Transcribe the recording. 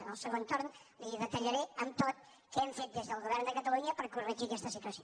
en el segon torn li detallaré amb tot què hem fet des del govern de catalunya per corregir aquesta situació